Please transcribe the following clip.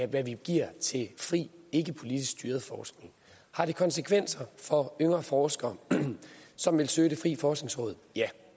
det vi giver til fri ikkepolitisk styret forskning har det konsekvenser for yngre forskere som vil søge hos det frie forskningsråd ja